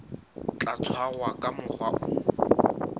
tla tshwarwa ka mokgwa o